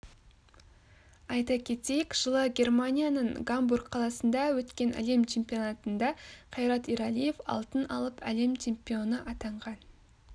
айта кетейік жылы германияның гамбург қаласында өткен әлем чемпионтында қайрат ералиев алтын алып әлем чемпионы атанған